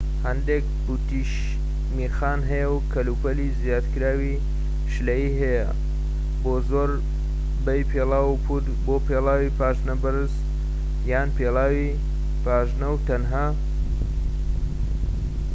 هەندێک پوتیش میخیان هەیە و کەلوپەلی زیادکراوی شلەیی هەیە بۆ زۆربەی پێڵاو و پووت بۆ پێڵاوی پاژنەبەرز یان پێڵاوی پاژنە و تەنها